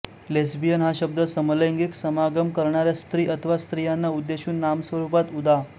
lesbian हा शब्द समलैंगिक समागम करणाऱ्या स्त्री अथवा स्त्रियांना उद्देशून नाम स्वरुपात उदा